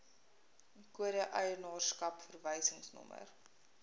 kode eienaarskap verwysingsnommer